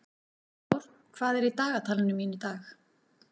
Sigdór, hvað er á dagatalinu mínu í dag?